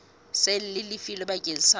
seng le lefilwe bakeng sa